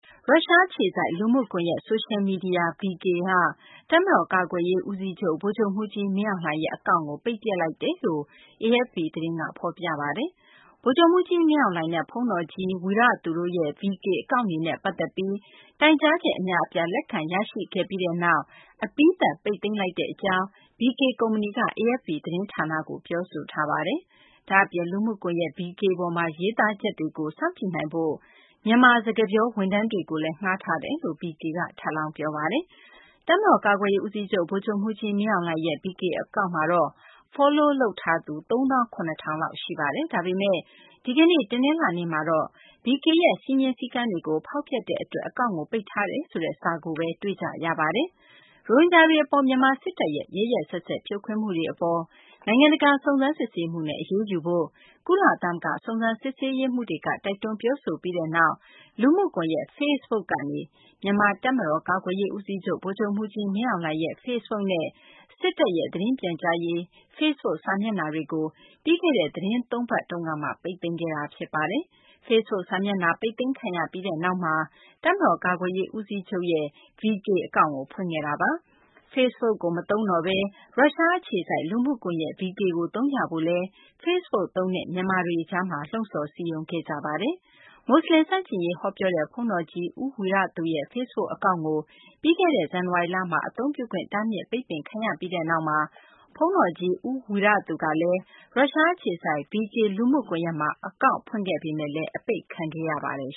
ရုရှားအခြေစိုက် လူမှုကွန်ယက် ဆိုရှယ်မီဒီယာ VK လို့သိကြတဲ့ VKontakte က တပ်မတော် ကာကွယ်ရေး ဦးစီးချုပ် ဗိုလ်ချုပ်မှူးကြီး မင်းအောင်လှိုင်ရဲ့ အကောင့်ကို ပိတ်ပစ်လိုက်ကြောင်း AFP သတင်းက ဖော်ပြပါတယ်။ ဗိုလ်ချုပ်မှူးကြီး မင်းအောင်လှိုင်နဲ့ ဘုန်းတော်ကြီး ဝီရသူတို့ရဲ့ VK အကောင့်တွေနဲ့ ပတ်သက်ပြီး တိုင်ကြားချက် အများအပြား လက်ခံရရှိခဲ့ပြီးနောက် အပြီးသတ် ပိတ်သိမ်းလိုက်ကြောင်း VK ကုမ္ပဏီက AFP သတင်းဌာနကို ပြောပါတယ်။ ဒါ့အပြင် လူမှုကွန်ယက် VK ပေါ်မှာ ရေးသားချက်တွေကို စောင့်ကြည့်နိုင်ဖို့ မြန်မာ စကားပြော ဝန်ထမ်းတွေကိုလည်း ငှားထားတယ်လို့လည်း VK က ထပ်လောင်း ပြောပါတယ်။ တပ်မတော် ကာကွယ်ရေး ဦးစီးချုပ် ဗိုလ်ချုပ်မှူးကြီး မင်းအောင်လှိုင်ရဲ့ VK အကောင့်မှာတော့ Follow လုပ်ထားသူ ၃ သောင်း ၇ ထောင်လောက် ရှိခဲ့ပါတယ်။ ဒါပေမယ့် ဒီကနေ့ တနလာၤနေ့မှာတော့ VK ရဲ့ စည်းမျဉ်းစည်းကမ်းတွေကို ဖောက်ဖျက်တဲ့ အတွက် အကောင့်ကို ပိတ်ထားတယ်ဆိုတဲ့ စာကိုပဲ တွေ့ကြရပါတယ်။ ရိုဟင်ဂျာတွေ အပေါ် မြန်မာ စစ်တပ်ရဲ့ ရက်ရက်စက်စက် ဖြိုခွင်းမှုတွေအပေါ် နိုင်ငံတကာ စုံစမ်းစစ်ဆေးမှုနဲ့ အရေးယူဖို့ ကုလသမဂ္ဂ စုံစမ်းစစ်ဆေးရေးမှူးတွေက တိုက်တွန်း ပြောဆိုလိုက်ပြီးနောက်မှာ လူမှုကွန်ယက် Facebook ကနေ မြန်မာ တပ်မတော် ကာကွယ်ရေး ဦးစီးချုပ် ဗိုလ်ချုပ်မှူးကြီး မင်းအောင်လှိုင်ရဲ့ Facebook နဲ့ စစ်တပ်ရဲ့ သတင်းပြန်ကြားရေး Facebook စာမျက်နှာတွေကို ပြီးခဲ့တဲ့ သီတင်း ၃ ပတ် အတွင်း ပိတ်သိမ်းခဲ့တာပါ။ Facebook စာမျက်နှာက ပိတ်သိမ်းခံရပြီးနောက်မှာ တပ်မတော် ကာကွယ်ရေး ဦးစီးချုပ်ရဲ့ VK အကောင့် ဖွင့်ခဲ့တာပါ။ Facebook ကို မသုံးတော့ဘဲ ရုရှား အခြေစိုက် လူမှုကွန်ယက် VK ကို သုံးကြဖို့လည်း ဖေစ့်ဘွတ်သုံးတဲ့ မြန်မာတွေကြားမှာ လှုံ့ဆော်စည်းရုံးခဲ့ကြတာပါ။ မူဆလင် ဆန့်ကျင်ရေး ဟောပြောတဲ့ ဘုန်းတော်ကြီး ဦးဝီရသူရဲ့ Facebook အကောင့်ကို ပြီးခဲ့တဲ့ ဇန်နဝါရီလမှာ အသုံပြုခွင့် တားမြစ် ပိတ်ပင်ခံရပြီးနောက် ဘုန်းတော်ကြီး ဦးဝီရသူကလည်း ရုရှား အခြေစိုက် VK လူမှုကွန်ယက်မှာ အကောင့် ဖွင့်ခဲ့ပေမယ့် အပိတ်ခံခဲ့ရပါတယ်